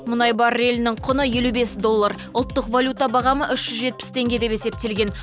мұнай баррелінің құны елу бес доллар ұлттық валюта бағамы үш жүз жетпіс теңге деп есептелген